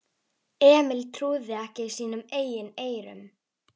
Emil trúði ekki sínum eigin eyrum.